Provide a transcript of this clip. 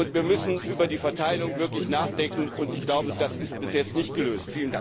Wir müssen über die Verteilung wirklich nachdenken und, ich glaube, das ist bis jetzt nicht gelöst.